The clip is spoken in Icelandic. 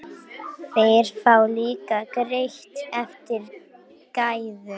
Þeir fá líka greitt eftir gæðum.